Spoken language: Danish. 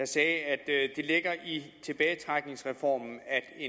sagde at det ligger i tilbagetrækningsreformen